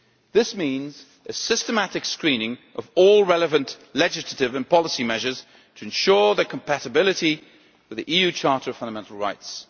This means a systematic screening of all relevant legislative and policy measures to ensure their compatibility with the EU Charter of Fundamental Rights.